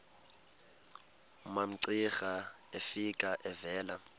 umamcira efika evela